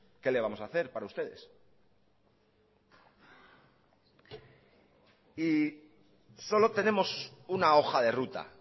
que le vamos a hacer para ustedes y solo tenemos una hoja de ruta